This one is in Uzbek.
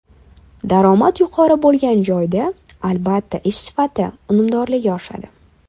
Daromad yuqori bo‘lgan joyda, albatta ish sifati, unumdorligi oshadi.